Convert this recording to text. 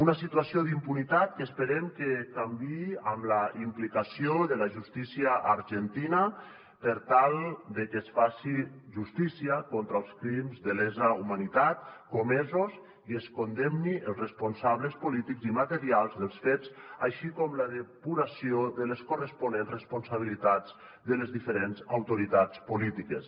una situació d’impunitat que esperem que canviï amb la implicació de la justícia argentina per tal que es faci justícia contra els crims de lesa humanitat comesos i es condemnin els responsables polítics i materials dels fets així com la depuració de les corresponents responsabilitats de les diferents autoritats polítiques